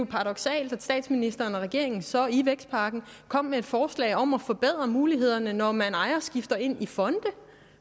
paradoksalt at statsministeren og regeringen så i vækstpakken kom med et forslag om at forbedre mulighederne når man ejerskifter ind i fonde